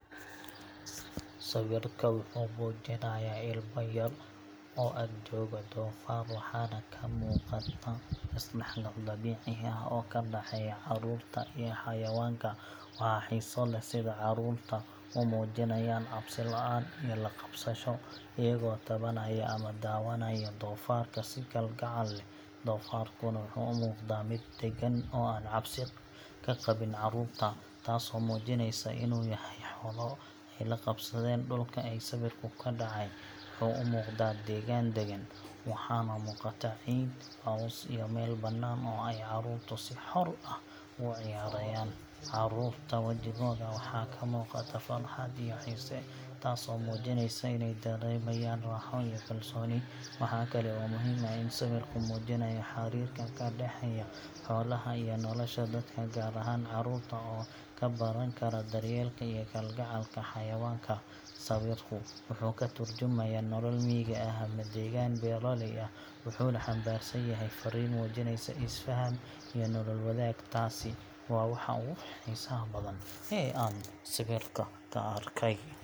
Sawirka wuxuu muujinayaa ilmo yaryar oo ag jooga doofaar, waxaana ka muuqata isdhexgal dabiici ah oo ka dhexeeya carruurta iyo xayawaanka. Waxaa xiiso leh sida carruurtu u muujinayaan cabsi la’aan iyo la qabsasho, iyagoo taabanaya ama daawanaya doofaarka si kalgacal leh. Doofaarkuna wuxuu u muuqdaa mid deggan oo aan cabsi ka qabin carruurta, taasoo muujinaysa in uu yahay xoolo ay la qabsadeen. Dhulka ay sawirku ka dhacay wuxuu u muuqdaa deegaan daggan, waxaana muuqata ciid, caws, iyo meel bannaan oo ay carruurtu si xor ah ugu ciyaarayaan. Carruurta wajigooda waxaa ka muuqata farxad iyo xiise, taasoo muujinaysa iney dareemayaan raaxo iyo kalsooni. Waxaa kale oo muhiim ah in sawirku muujinayo xiriirka ka dhexeeya xoolaha iyo nolosha dadka, gaar ahaan carruurta oo ka baran kara daryeelka iyo kalgacalka xayawaanka. Sawirka wuxuu ka tarjumayaa nolol miyiga ah ama deegaan beeraley ah, wuxuuna xambaarsan yahay fariin muujinaysa isfaham iyo nolol wadaag. Taasi waa waxa ugu xiisaha badan ee aan sawirka ka arkay.